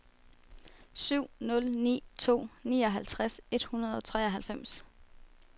syv nul ni to nioghalvtreds et hundrede og treoghalvfems